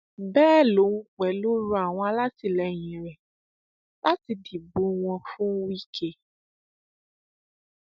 bẹẹ lòun pẹlú rọ àwọn alátìlẹyìn rẹ láti dìbò wọn fún wike